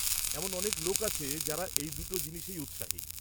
এমন অনেক লোক আছে যারা এই দুটো জিনিসেই উৎসাহী।